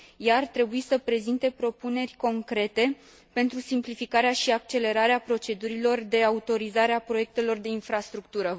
Ea ar trebui să prezinte propuneri concrete pentru simplificarea și accelerarea procedurilor de autorizare a proiectelor de infrastructură.